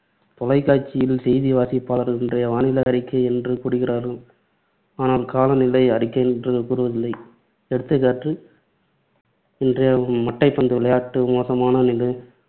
தொலைக்காட்சிகளில் செய்தி வாசிப்பாளர்கள் இன்றைய வானிலை அறிக்கை என்று கூறுகிறார்கள். ஆனால் கால நிலை அறிக்கை என்று கூறுவதில்லை. எடுத்துக் காட்டு இன்றைய மட்டைப்பந்து விளையாட்டு மோசமான